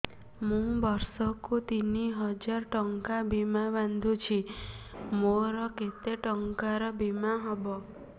ମୁ ବର୍ଷ କୁ ତିନି ହଜାର ଟଙ୍କା ବୀମା ବାନ୍ଧୁଛି ମୋର କେତେ ଟଙ୍କାର ବୀମା ହବ